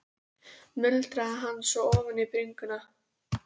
muldraði hann svo ofan í bringuna.